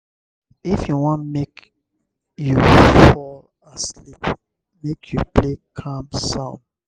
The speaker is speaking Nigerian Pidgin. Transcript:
if you wan make you fall asleep make you play calm sound.